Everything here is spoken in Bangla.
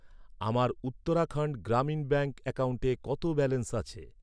আমার উত্তরাখণ্ড গ্রামীণ ব্যাঙ্ক অ্যাকাউন্টে কত ব্যালেন্স আছে?